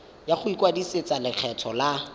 ya go ikwadisetsa lekgetho la